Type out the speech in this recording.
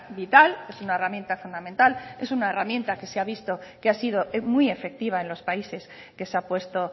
vital es una herramienta fundamental es una herramienta que se ha visto que ha sido muy efectiva en los países que se ha puesto